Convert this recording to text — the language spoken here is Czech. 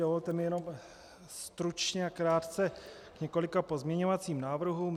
Dovolte mi jenom stručně a krátce k několika pozměňovacím návrhům.